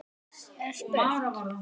er spurt.